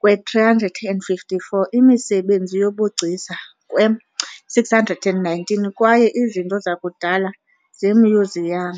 kwe-354 imisebenzi yobugcisa kwe-619 kwaye izinto zakudala zemyuziyam.